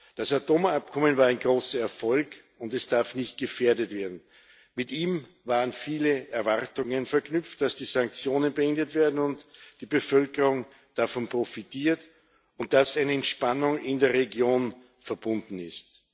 Das Atomabkommen war ein großer Erfolg, und es darf nicht gefährdet werden. Mit ihm waren viele Erwartungen verknüpft dass die Sanktionen beendet werden und die Bevölkerung davon profitiert und dass eine Entspannung in der Region damit verbunden ist.